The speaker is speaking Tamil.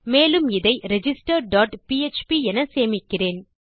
மேலும் இதை ரிஜிஸ்டர் டாட் பிஎச்பி என சேமிக்கிறேன்